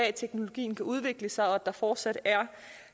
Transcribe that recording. at teknologien kan udvikle sig og at der fortsat er